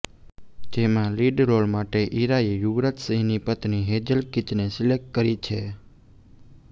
જેમાં lead role માટે ઈરાએ યુવરાજ સિંહની પત્ની હેઝલ કીચને સિલેક્ટ કરી છે